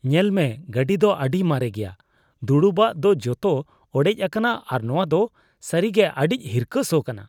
ᱧᱮᱞᱢᱮ ᱜᱟᱹᱰᱤ ᱫᱚ ᱟᱹᱰᱤ ᱢᱟᱨᱮ ᱜᱮᱭᱟ ᱾ ᱫᱩᱲᱩᱵᱼᱟᱜ ᱫᱚ ᱡᱚᱛᱚ ᱚᱲᱮᱡ ᱟᱠᱟᱱᱟ ᱟᱨ ᱱᱚᱣᱟ ᱫᱚ ᱥᱟᱹᱨᱤᱜᱮ ᱟᱹᱰᱤ ᱦᱤᱨᱠᱷᱟᱹ ᱥᱚ ᱠᱟᱱᱟ ᱾